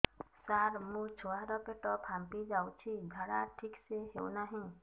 ସାର ମୋ ଛୁଆ ର ପେଟ ଫାମ୍ପି ଯାଉଛି ଝାଡା ଠିକ ସେ ହେଉନାହିଁ